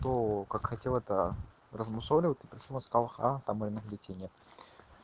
то как хотел это размусоливать ты почему сказал ха там м бюллетени